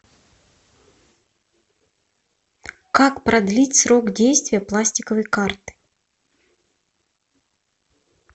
как продлить срок действия пластиковой карты